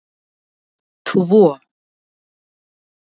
tvo